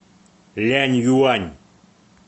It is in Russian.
ляньюань